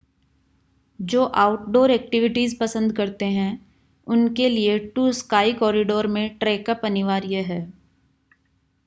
जो outdoor activities पसंद करते हैं उनके लिए टू स्काय कोरिडोर में ट्रैकअप अनिवार्य है